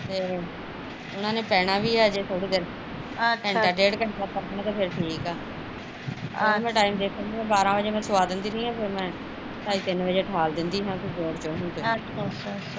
ਤੇ ਉਹਨਾਂ ਨੇ ਪੈਣਾ ਵੀ ਆ ਹਜੇ ਥੋੜੀ ਦੇਰ ਘੰਟਾ ਡੇਢ ਘੰਟਾ ਸੋ ਜਾਣ ਤੇ ਫਿਰ ਠੀਕ ਆ ਓਹੀ ਮੈਂ ਟੈਮ ਦੇਖਣ ਡਈ ਬਾਰਾ ਵਜੇ ਮੈਂ ਸਵਾ ਦਿੰਦੀ ਹੁੰਦੀ ਆ ਫੇਰ ਮੈਂ ਢਾਈ ਤਿੰਨ ਵਜੇ ਠਾਲ ਦਿੰਦੀ ਆ ਵੀ ਹੁਣ ਉਠਜੋ ਤੁਸੀਂ